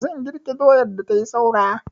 Zan girke doyar da tai saura.